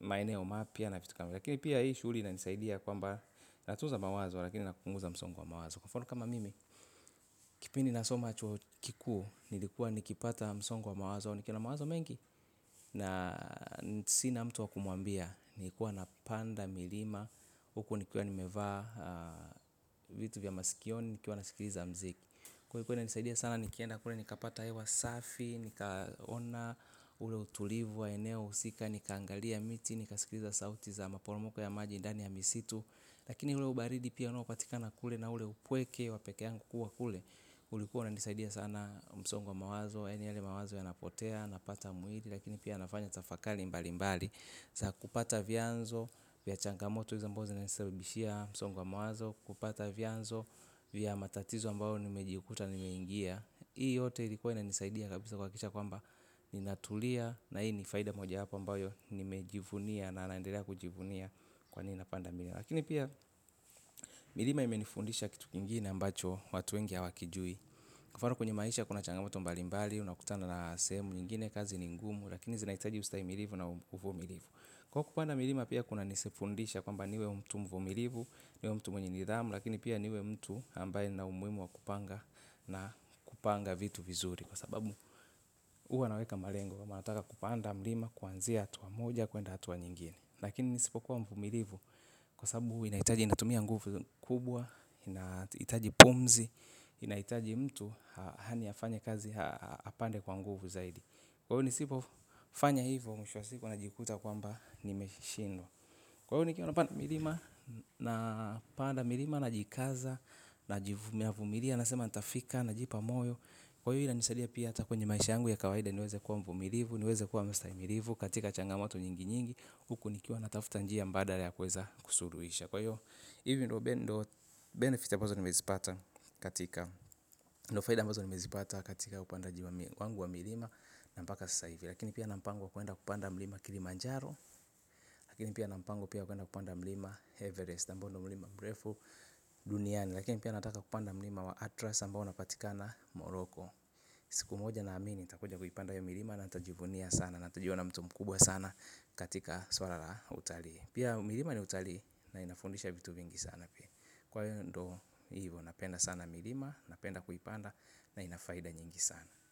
maeneo mapya na vitu kama hizo. Lakini pia hii shughuli inanisaidia kwamba, natuza mawazo lakini napunguza msongo wa mawazo. Kwa mfano kama mimi, kipindi nasoma chuo kikuu, nilikuwa nikipata msongo wa mawazo au nikiwa na mawazo mengi, na sina mtu wa kumwambia, nilikua napanda milima huku nikiwa nimevaa vitu vya masikioni, nikiwa nasikiliza mziki. Kwa hivyo ilikuwa inanisaidia sana nikienda kule nikapata hewa safi, nikaona ule utulivu wa eneo husika, nikaangalia miti, nikasikiliza sauti za maporomoko ya maji ndani ya misitu. Lakini ule ubaridi pia unaopatikana kule na ule upweke wa peke yangu kukua kule. Ulikuwa unanisaidia sana msongo wa mawazo, yaani yale mawazo yanapotea, napata mwili lakini pia nafanya tafakali mbali mbali za kupata vyanzo, vya changamoto hizi ambazo zinanisabishia msongo wa mawazo, kupata vyanzo vya matatizo ambayo nimejikuta nimeingia. Hii yote ilikuwa inanisaidia kabisa kuhakikisha kwamba ninatulia na hii ni faida mojawapo ambayo nimejivunia na naendelea kujivunia kwa nini napanda milima. Lakini pia milima imenifundisha kitu kingine ambacho watu wengi hawakijui. Kwa mfano kwenye maisha kuna changamoto mbalimbali unakutana na sehemu nyingine kazi ni ngumu, lakini zinahitaji ustaimilivu na uvumilivu. Kwa hiyo kupanda milima pia kuna nifundisha kwamba niwe mtu mvumilivu, niwe mtu mwenye nidhamu, lakini pia niwe mtu ambaye nina umuhimu wa kupanga na kupanga vitu vizuri kwa sababu huwa naweka malengo. Huwa nataka kupanda mlima kuanzia hatua moja kuenda hatua nyingine. Lakini nisipokuwa mvumilivu, kwa sababu inahitaji inatumia nguvu kubwa, inahitaji pumzi, inahitaji mtu yaani afanye kazi apande kwa nguvu zaidi. Kwa hivyo nisipofanya hivyo mwisho wa siku najikuta kwamba nimeshindwa. Kwa hivyo nikiwa napanda milima napanda milima, najikaza navumilia nasema nitafika, najipa moyo. Kwa hivyo inanisaidia pia hata kwenye maisha yangu ya kawaida niweze kuwa mvumilivu, niweze kuwa mstahimilivu katika changamoto nyingi nyingi, huku nikiwa natafuta njia mbadala ya kuweza kusuluhisha, kwa hivyo hivyo ndio 'benefits' ambazo nimezipata katika ndio faida ambazo nimezipata katika upandaji wangu wa milima, na mpaka sasa hivi. Lakini pia nina mpango wa kwenda kupanda milima Kilimanjaro. Lakini pia nina mpango pia wa kwenda kupanda milima ya Everest. Ambayo ndio mlima mrefu duniani. Lakini pia nataka kupanda milima wa Atlas ambao unapatikana Morocco. Siku moja naamini nitakuja kuipanda hio milima na nitajivunia sana, na nitajiona mtu mkubwa sana katika swala la utalii. Pia milima ni utalii, na inafundisha vitu vingi sana pia. Kwa hiyo ndio hivo. Napenda sana milima, napenda kuipanda na ina faida nyingi sana.